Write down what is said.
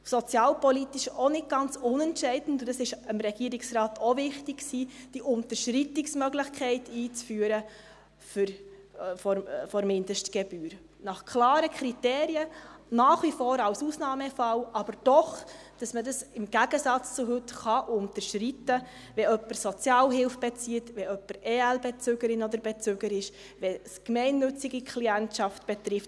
Was sozialpolitisch auch nicht gerade unentscheidend ist und dem Regierungsrat auch wichtig war: die Unterschreitungsmöglichkeit der Mindestgebühr einzuführen, nach klaren Kriterien, nach wie vor als Ausnahmefall, aber doch so, dass man dies im Gegensatz zu heute unterschreiten kann, wenn jemand Sozialhilfe bezieht, wenn jemand Ergänzungsleistungsbezügerin oder -bezüger ist oder wenn es gemeinnützige Klientschaft betrifft.